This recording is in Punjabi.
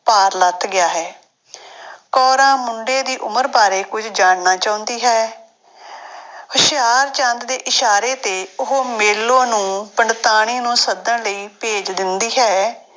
ਭਾਰ ਲੱਥ ਗਿਆ ਹੈ ਕੋਰਾਂ ਮੁੰਡੇ ਦੀ ਉਮਰ ਬਾਰੇ ਕੁੱਝ ਜਾਣਨਾ ਚਾਹੁੰਦੀ ਹੈ ਹੁਸ਼ਿਆਰਚੰਦ ਦੇ ਇਸ਼ਾਰੇ ਤੇ ਉਹ ਮੇਲੋ ਨੂੰ ਪੰਡਤਾਣੀ ਨੂੰ ਸੱਦਣ ਲਈ ਭੇਜ ਦਿੰਦੀ ਹੈ।